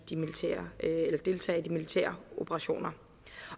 militære operationer